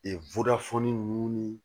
nunnu ni